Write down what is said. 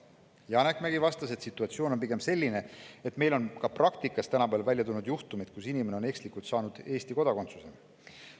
Janek Mägi vastas, et situatsioon on pigem selline, et meil on praktikas tulnud välja juhtumeid, kus inimene on ekslikult saanud Eesti kodakondsuse.